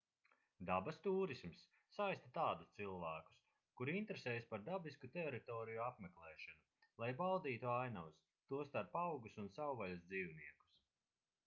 dabas tūrisms saista tādus cilvēkus kuri interesējas par dabisku teritoriju apmeklēšanu lai baudītu ainavas tostarp augus un savvaļas dzīvniekus